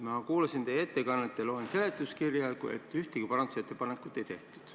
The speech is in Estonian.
Ma kuulasin teie ettekannet ja loen seletuskirjast, et ühtegi parandusettepanekut ei tehtud.